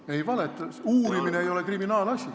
Ei valetanud, uurimine ei ole kriminaalasi.